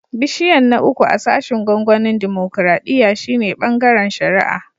Bishiyan na uku a sashin gwamnatin dimokuradiyya shine "Bangaren shari'a."